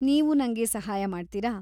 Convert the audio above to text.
ನೀವು ನಂಗೆ ಸಹಾಯ ಮಾಡ್ತೀರಾ?